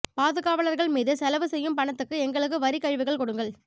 பாதுகாவலர்கள் மீது செலவு செய்யும் பணத்துக்கு எங்களுக்கு வரிக் கழிவுகள் கொடுங்கள்